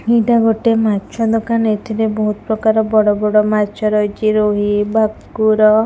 ଏଇଟା ଗୋଟେ ମାଛ ଦୋକାନ ଏଥିରେ ବୋହୁତ୍ ପ୍ରକାର ବଡ଼ ବଡ଼ ମାଛ ରହିଚି ରୋହି ଭାକୁର।